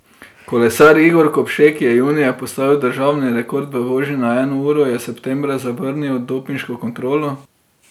Kolesar Igor Kopše, ki je junija postavil državni rekord v vožnji na eno uro, je septembra zavrnil dopinško kontrolo.